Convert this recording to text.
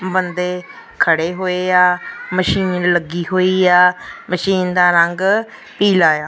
ਬੰਦੇ ਖੜੇ ਹੋਏ ਆ ਮਸ਼ੀਨ ਲੱਗੀ ਹੋਈ ਆ ਮਸ਼ੀਨ ਦਾ ਰੰਗ ਪੀਲਾ ਆ।